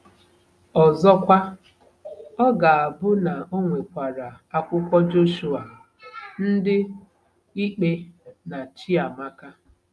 Ọzọkwa, ọ ga-abụ na ọ nwekwara akwụkwọ Jọshụa, Ndị Ikpe, na Chiamaka.